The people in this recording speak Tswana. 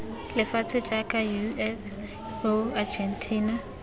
lefatshe jaaka us eu argentina